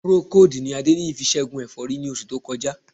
Procold ni Adéníyì fi ṣẹ́gun ẹ̀fọ́rí ní oṣù tó kọjá